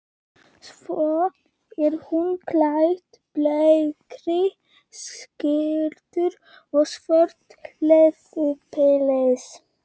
Svo er hún klædd bleikri skyrtu og svörtu leðurpilsi.